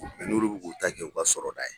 n'ulu b'u k'u ta kɛ u ka sɔrɔda ye.